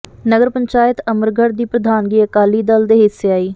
ਨਗਰ ਪੰਚਾਇਤ ਅਮਰਗੜ੍ਹ ਦੀ ਪ੍ਰਧਾਨਗੀ ਅਕਾਲੀ ਦਲ ਦੇ ਹਿੱਸੇ ਆਈ